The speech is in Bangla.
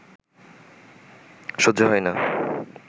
সহ্য হয় না